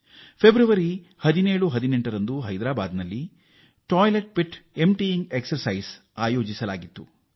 February 17 ಮತ್ತು 18ರಂದು ಹೈದ್ರಾಬಾದ್ ನಲ್ಲಿ ಶೌಚಗುಂಡಿಗಳನ್ನು ಖಾಲಿ ಮಾಡುವ ಕಸರತ್ತು ನಡೆಸಲಾಯಿತು